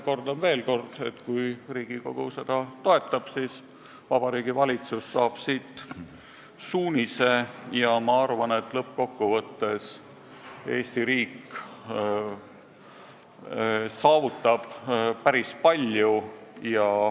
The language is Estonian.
Kordan veel kord, et kui Riigikogu seda toetab, siis Vabariigi Valitsus saab siit suunise ja ma arvan, et lõppkokkuvõttes Eesti riik saavutab päris palju.